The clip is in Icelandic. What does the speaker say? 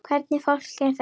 Hvernig fólk er þetta?